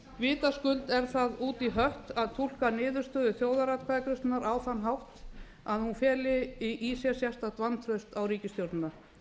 vitaskuld er það út í hött að túlka niðurstöðu þjóðaratkvæðagreiðslunnar á þann hátt að hún feli sér sérstakt vantraust á ríkisstjórnina